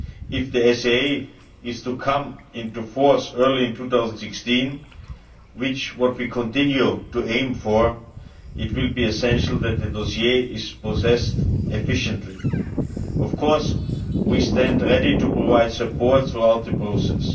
If the SAA is to come into force in early 2016, which is what we continue to aim for, it will be essential that the dossier is processed efficiently. Of course we stand ready to provide support throughout the process.